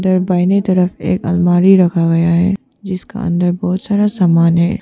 बाहिनीं तरफ एक अलमारी रखा गया है जिसका अंदर बहुत सारा सामान है।